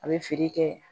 A bɛ feere kɛ